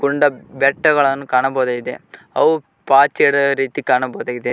ಗುಡ್ಡ ಬೆಟ್ಟಗಳನ್ನು ಕಾಣಬಹುದಾಗಿದೆ ಅವು ಪಾಚಿ ಹಿಡ್ದಿರೋ ರೀತಿ ಕಾಣಬಹುದಾಗಿದೆ.